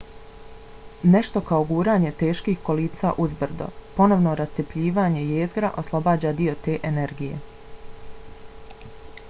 nešto kao guranje teških kolica uzbrdo. ponovno rascjepljivanje jezgra oslobađa dio te energije